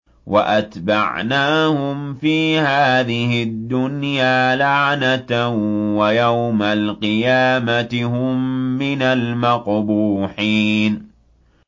وَأَتْبَعْنَاهُمْ فِي هَٰذِهِ الدُّنْيَا لَعْنَةً ۖ وَيَوْمَ الْقِيَامَةِ هُم مِّنَ الْمَقْبُوحِينَ